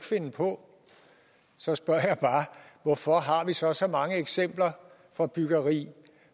finde på så spørger jeg bare hvorfor har vi så så mange eksempler fra byggeri